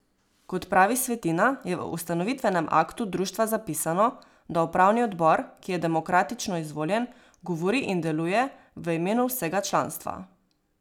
Kot pravi Svetina, je v ustanovitvenem aktu društva zapisano, da upravni odbor, ki je demokratično izvoljen, govori in deluje v imenu vsega članstva.